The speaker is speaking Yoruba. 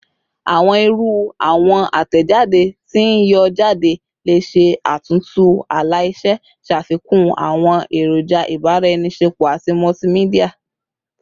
Awọn iru awọn atẹjade ti n yọ jade le ṣe atuntu ala-ilẹ, ṣafikun awọn eroja ibaraenisepo ati multimedia